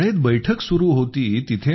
शाळेत बैठक सुरु होती